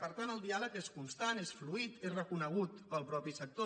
per tant el diàleg és constant és fluid és reconegut pel mateix sector